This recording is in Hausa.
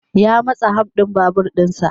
Ya matsa ham din babur din sa.